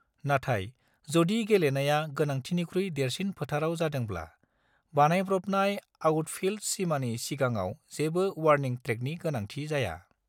नाथाय, जदि गेलेनाया गोनांथिनिख्रुइ देरसिन फोथाराव जादोंब्ला, बानायब्रबनाय आउटफील्ड सिमानि सिगाङाव जेबो वार्निं ट्रैकनि गोनांथि जाया।